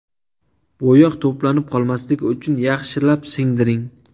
Bo‘yoq to‘planib qolmasligi uchun yaxshilab singdiring.